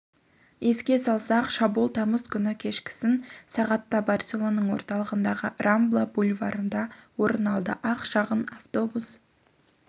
еске салсақ шабуыл тамыз күні кешкісін сағатта барселонаның орталығындағы рамбла бульварында орын алды ақ шағын автобус